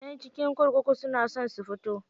Ƴan cikin kurkuku suna so su fito.